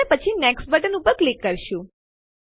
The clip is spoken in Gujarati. અને પછી નેક્સ્ટ બટન ઉપર ક્લિક કરીશું